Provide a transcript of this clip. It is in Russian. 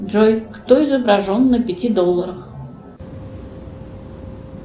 джой кто изображен на пяти долларах